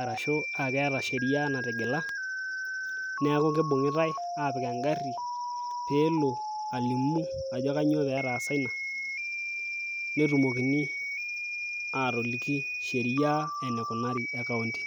arashu aakeeta sheria natigila, neeku kinung'itae aapik egari pee elo alimu ajo kainyioo pee etaasa ina. nelikini sheria eneikunari e county.